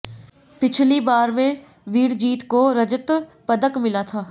पिछली बार में विरजीत को रजत पदक मिला था